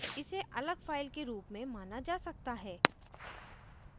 इसे अलग file के रूप में माना जा सकता है